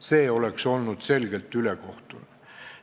See oleks olnud selgelt ülekohtune.